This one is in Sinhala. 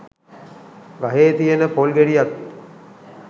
ගහේ තියෙන පොල් ගෙඩියත්